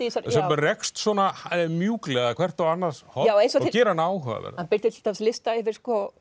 rekst svona mjúklega hvert á annars horn og gerir hana áhugaverða hann birtir til dæmis lista yfir